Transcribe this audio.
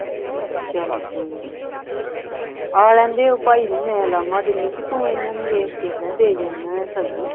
ਚਲ ਕੋਈ ਨਹੀਂ ਆ ਲੈਣ ਦੇ ਉਹ ਭਾਈ ਨੂੰ ਮੈਂ ਉਲਾਮਾ ਦੇਨੀ ਬਈ ਤੂੰ ਇਨ੍ਹਾਂ ਨੂੰ ਵੇਖ ਕੇ ਹੈਂ ਦੇ ਜਾਨਾਂ ਆ ਸਬਜੀ